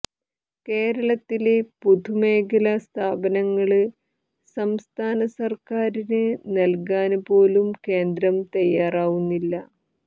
കേരളത്തിലെ പൊതുമേഖലാ സ്ഥാപനങ്ങള് സംസ്ഥാന സര്ക്കാറിന് നല്കാന് പോലും കേന്ദ്രം തയ്യാറാവുന്നില്ല